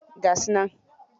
Ga su nan?